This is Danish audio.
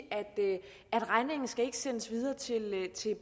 at regningen ikke skal sendes videre til